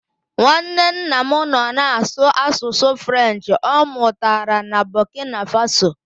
Nwanne nna m nọ na-asụ asụsụ French ọ mụtara na Bọkina Faso.